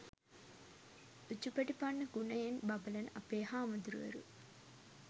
උජුපටිපන්න ගුණයෙන් බබළන අපේ හාමුදුරුවරු